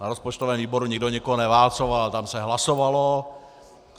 Na rozpočtovém výboru nikdo nikoho neválcoval, tam se hlasovalo.